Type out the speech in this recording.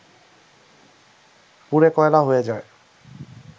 পুড়ে কয়লা হয়ে যায়